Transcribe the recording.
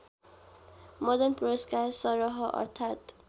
मदन पुरस्कार सरह अर्थात्